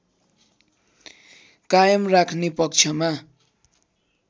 कायम राख्ने पक्षमा